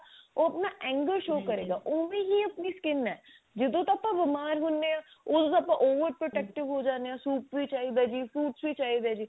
ਉਹ ਆਪਣਾ angle show ਕਰੇਗਾ ਓਵੇਂ ਹੀ ਆਪਣੀ skin ਹੈ ਜਦੋਂ ਆਪਾਂ ਬੀਮਾਰ ਹੁੰਦੇ ਹਾਂ ਓਦੋਂ ਤਾਂ ਆਪਾਂ over protective ਹੋ ਜਾਂਦੇ ਹਾਂ soup ਵੀ ਚਾਹੀਦਾ ਜੀ fruits ਵੀ ਚਾਹੀਦੇ ਨੇ